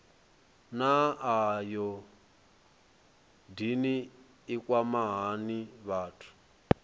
naa ayodini i kwama hani vhathu